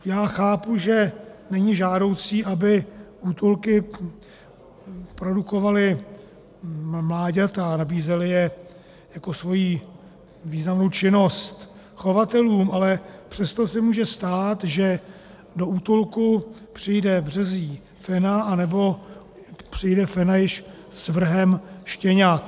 Já chápu, že není žádoucí, aby útulky produkovaly mláďata a nabízely je jako svoji významnou činnost chovatelům, ale přesto se může stát, že do útulku přijde březí fena anebo přijde fena již s vrhem štěňat.